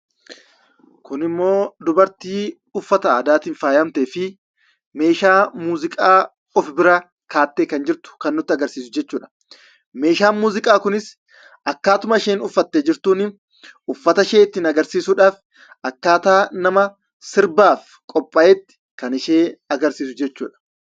Kun immoo dubartii uffata aadaan faayyamtee fi meeshaa muuziqaa of bira keessee kan jirtu kan nutti agarsiisu jechuu dha. Meeshaan muuziqaa Kunis akkaatuma isheen itti uffattee jirtuu fi uffatta ishee ittiin agarsiisuu fi sirbaaf nama qophaa'ee jiruu kan agarsiisuu dha.